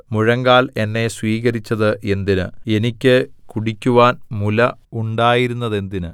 മുഴങ്കാൽ എന്നെ സ്വീകരിച്ചത് എന്തിന് എനിക്ക് കുടിക്കുവാൻ മുല ഉണ്ടായിരുന്നതെന്തിന്